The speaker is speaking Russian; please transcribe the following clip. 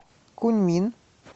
куньмин